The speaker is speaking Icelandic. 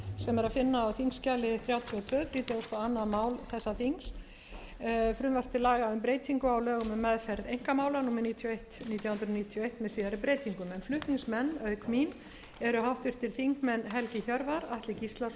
þrjátíu og tvö þrítugasta og önnur mál þessa þings frumvarp til laga um breytingu á lögum um meðferð einkamála númer níutíu og eitt nítján hundruð níutíu og eitt með síðari breytingum flutningsmenn auk mín eru háttvirtir þingmenn helgi hjörvar atli gíslason